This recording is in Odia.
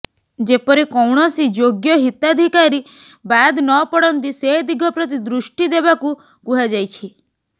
ଯେପରି କୌଣସି ଯୋଗ୍ୟ ହିତାଧିକାରୀ ବାଦ ନପଡନ୍ତି ସେ ଦିଗ ପ୍ରତି ଦୃଷ୍ଟି ଦେବାକୁ କୁହାଯାଇଛି